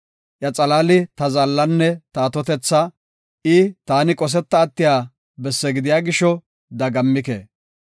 Iya xalaali ta zaallanne ta atotetha; taani qosetiya bessi gidiya gisho dagammike.